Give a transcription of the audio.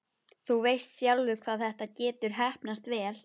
Þú veist sjálfur hvað þetta getur heppnast vel.